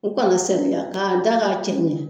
U kana seliya ka'a da k'a cɛ ɲɛn.